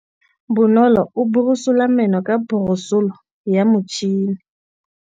Bonolô o borosola meno ka borosolo ya motšhine.